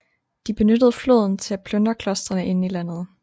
De benyttede floden til at plyndre klostrene inde i landet